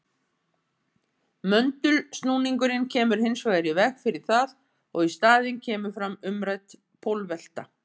Möndulsnúningurinn kemur hins vegar í veg fyrir það og í staðinn kemur fram umrædd pólvelta.